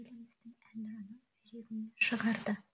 еліміздің әнұранын жүрегінен шығарды